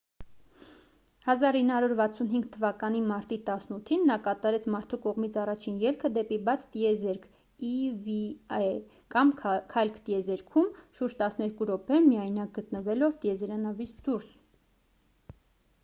1965 թվականի մարտի 18-ին նա կատարեց մարդու կողմից առաջին ելքը դեպի բաց տիեզերք eva կամ «քայլք տիեզերքում»՝ շուրջ տասներկու րոպե միայնակ գտնվելով տիեզերանավից դուրս։